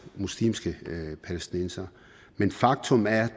muslimske palæstinensere men faktum er